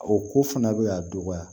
O ko fana bɛ ka dɔgɔya